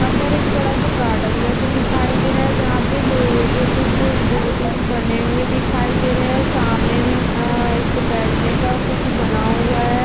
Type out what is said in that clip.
यहाँ पे एक बड़ा सा गार्डन जैसा दिखाई दे रहा है जहाँ पे लोहे के कुछ दो तीन बने हुए दिखाई रहे है सामने मे अअअ एक बैठने का कुछ बना हुआ है।